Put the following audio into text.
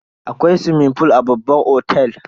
Akwai swimming fool a babban otel.